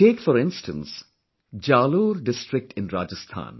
Take for instance Jalore district in Rajasthan